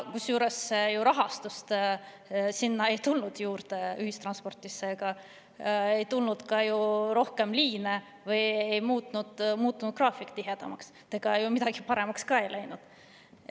Kusjuures rahastust sinna ühistransporti juurde ei tulnud, ei tulnud ka rohkem liine, ei muutunud graafik tihedamaks, midagi ju paremaks ei läinud.